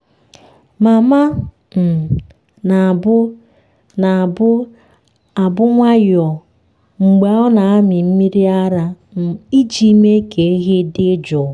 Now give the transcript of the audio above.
mama um na-abụ na-abụ abụ nwayọọ mgbe ọ na-amị mmiri ara um iji mee ka ehi dị jụụ.